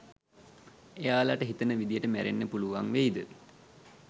එයාලට හිතන විදියට මැරෙන්න පුළුවන් වෙයිද